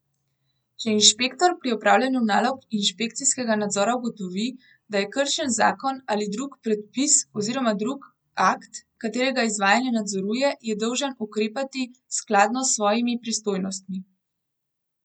Če inšpektor pri opravljanju nalog inšpekcijskega nadzora ugotovi, da je kršen zakon ali drug predpis oziroma drug akt, katerega izvajanje nadzoruje, je dolžan ukrepati skladno s svojimi pristojnostmi.